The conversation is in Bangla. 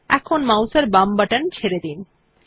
এখন মাউস এর বাম বাটন ছেড়ে দিন